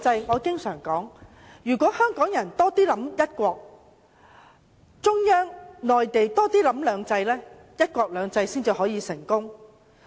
我經常說，香港人要多考慮"一國"，中央要多考慮"兩制"，"一國兩制"才能成功。